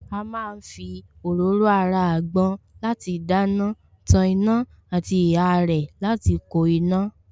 A má ń fi òróró ara àgbọn láti dáná, tan iná àti ihá rẹ̀ láti ko iná